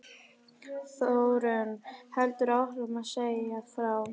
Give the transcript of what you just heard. Þórunn heldur áfram að segja frá